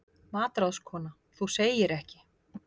MATRÁÐSKONA: Þú segir ekki!